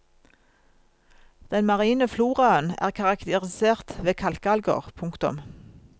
Den marine floraen er karakterisert ved kalkalger. punktum